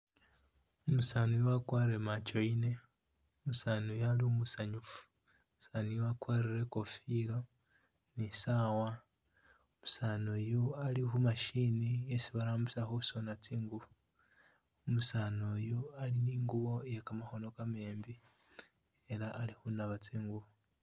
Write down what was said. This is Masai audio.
Umusani uyu wakwarile machoine, umusani uyu ali umusanyufu, umusani wakwarile uyu ikofilo ni'saawa, umusani uyu ali khu'machine isi barambisa khusona tsingubo, umusani uyu ali ni'ngubo iye kamakhono kamembi elah alikhunaba tsingubo